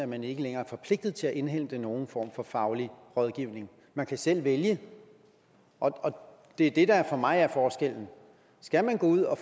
man ikke længere er forpligtet til at indhente nogen form for faglig rådgivning man kan selv vælge og det er det der for mig er forskellen skal man ud at